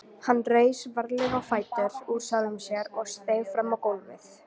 Hann reis varlega á fætur úr sjálfum sér og steig fram á gólfið.